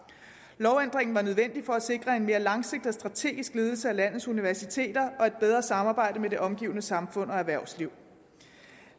lovændringen var nødvendig for at sikre en mere langsigtet og strategisk ledelse af landets universiteter og et bedre samarbejde med det omgivende samfund og erhvervsliv